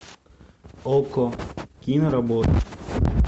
окко киноработа